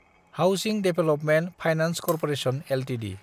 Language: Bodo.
housing development finance corporation Ltd